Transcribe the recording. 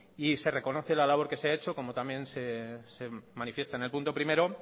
y se reconoce la labor que se ha hecho como también se manifiesta en el punto primero